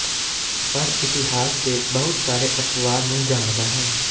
ਪਰ ਇਤਿਹਾਸ ਦੇ ਬਹੁਤ ਸਾਰੇ ਅਪਵਾਦ ਨੂੰ ਜਾਣਦਾ ਹੈ